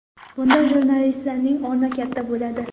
Bunda jurnalistlarning o‘rni katta bo‘ladi.